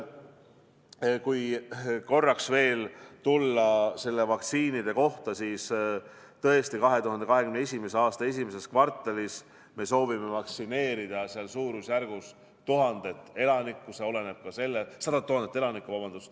Kui korraks veel tulla nende vaktsiinide juurde, siis tõesti, 2021. aasta esimeses kvartalis me soovime vaktsineerida suurusjärgus 100 000 elanikku.